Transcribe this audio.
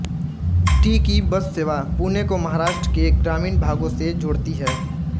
T की बससेवा पुणे को महाराष्ट्र के ग्रामीण भागो से जोडती है